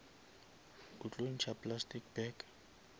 o tlo ntšha plastic bag